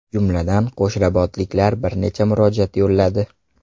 Jumladan, qo‘shrabotliklar bir necha murojaat yo‘lladi.